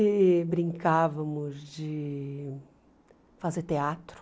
E brincávamos de fazer teatro.